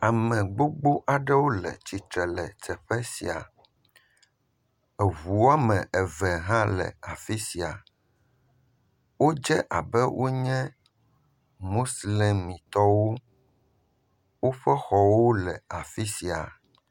Ame gbogbo aɖewo le tsitre le teƒe sia. Ŋu woame eve hã le afi sia. Wodze abe wonye muslemitɔwo. Woƒe xɔwo le afi sia.